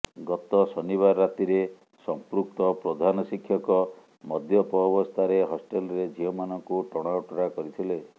ଗତ ଶନିବାର ରାତିରେ ସମ୍ପୃକ୍ତ ପ୍ରଧାନ ଶିକ୍ଷକ ମଦ୍ୟପ ଅବସ୍ଥାରେ ହଷ୍ଟେଲରେ ଝିଅମାନଙ୍କୁ ଟଣା ଓଟରା କରିଥିଲେ